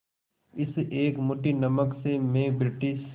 इस एक मुट्ठी नमक से मैं ब्रिटिश